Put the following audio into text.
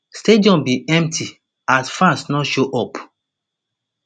stadium bin empty as fans no show up